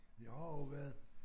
Jeg har også været